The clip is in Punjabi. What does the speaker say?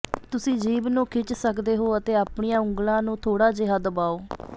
ਤੁਸੀਂ ਜੀਭ ਨੂੰ ਖਿੱਚ ਸਕਦੇ ਹੋ ਅਤੇ ਆਪਣੀਆਂ ਉਂਗਲਾਂ ਨੂੰ ਥੋੜਾ ਜਿਹਾ ਦਬਾਓ